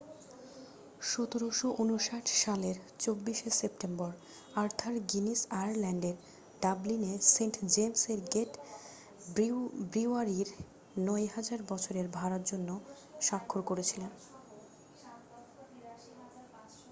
1759 সালের 24 শে September Arthur Guinness আয়ারল্যান্ডের ডাবলিনে সেন্ট জেমসের গেট ব্রিউয়ারির 9,000 বছরের ভাড়ার জন্য স্বাক্ষর করেছিলেন